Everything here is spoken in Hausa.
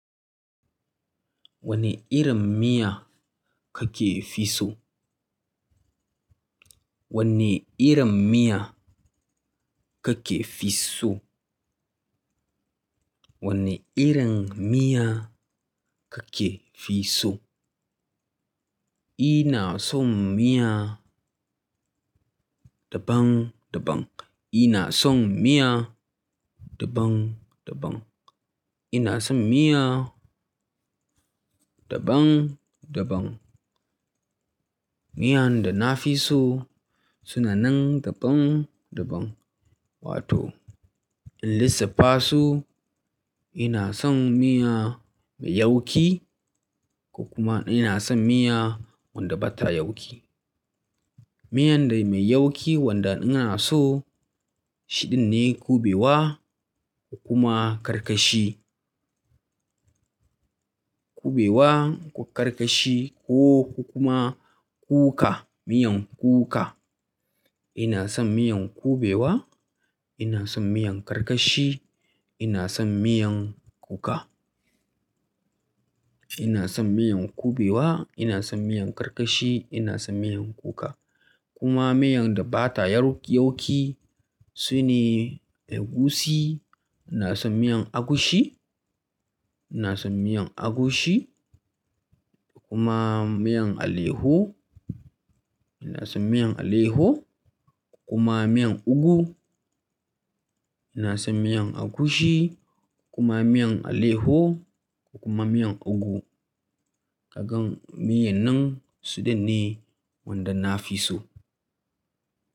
Wanne irin miya kake fi so? Wane irin miya kake fi so? Wane irin miya kake fi so? Ina son miya daban-daban. Ina son miya daɓan-daɓan. Ina son miya daɓan-daɓan. Miya da na fi so suna nan daban-daban. Wato in lissafa su, ina son miya mai yauƙi ko kuma ina son miya wadda ba ta yauƙi. Miyan da mai yauƙi wanda ina so shine kubewa ko kuma karkashi. Kubewa ko karkashi ko kuma kuka, miyan kuka. Ina son miyan kubewa, ina son miyan karkashi, ina son miyan kuka. Ina son miyan kubewa, ina son miyan karkashi, ina son miyan kuka. Kuma miyan da ba ta yauƙi su ne egusi. Ina son miyan agushi, ina son miyan agushi kuma miyan alaiyahu. Ina son miyar alayyahu kuma miyar ugu. Ina son miyar agushi kuma miyan alayyahu ko kuma miyar ugu. Kaga miyar nan su ɗin ne wanda na fi so.